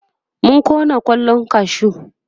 mun Kona kwallan kashu